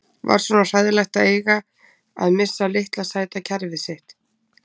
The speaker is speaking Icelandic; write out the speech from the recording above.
Var svona hræðilegt að eiga að missa litla sæta kerfið sitt?